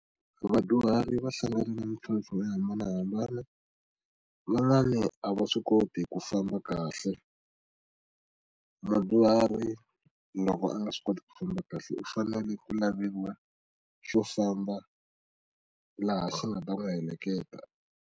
Vadyuhari va hlangana mintlhontlho yo hambanahambana van'wani a va swi koti ku famba kahle mudyuhari loko a nga swi koti ku famba kahle u fanele ku laveliwa xo famba laha xi nga ta n'wi heleketa.